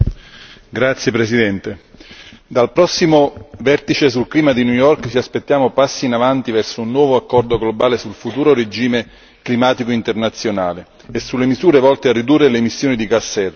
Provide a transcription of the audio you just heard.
Signora Presidente, onorevoli colleghi, dal prossimo vertice sul clima di New York ci aspettiamo passi in avanti verso un nuovo accordo globale sul futuro regime climatico internazionale e sulle misure volte a ridurre le emissioni di gas serra.